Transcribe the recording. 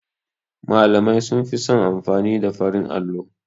Malamai sunfi son amfani da farin allo.